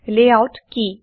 layout কি